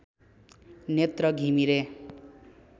Netra Ghimire